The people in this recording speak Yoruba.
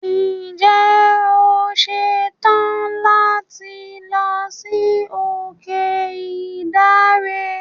Ǹje o ṣetàn láti lọ sí òkè Ìdànre.